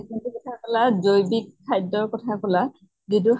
যোন টো কথা কলা জৈৱিক খাদ্য়ৰ কথা কলা যিটো